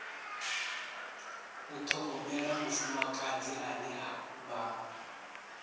u ṱhogomela mufumakadzi ane vha